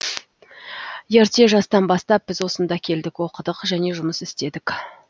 ерте жастан бастап біз осында келдік оқыдық және жұмыс істедік